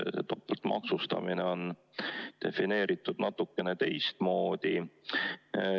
Topeltmaksustamine on defineeritud natukene teistmoodi.